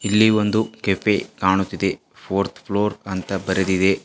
ಇಲ್ಲಿ ಒಂದು ಕೆಫೆ ಕಾಣುತ್ತಿದೆ ಫೋರ್ಥ್ ಫ್ಲೋರ್ ಅಂತ ಬರೆದಿದೆ.